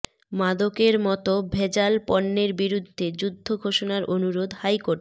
মাদকের মতো ভেজাল পণ্যের বিরুদ্ধে যুদ্ধ ঘোষণার অনুরোধ হাইকোর্টের